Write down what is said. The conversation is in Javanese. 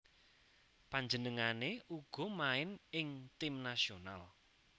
Panjenengané uga main ing tim nasional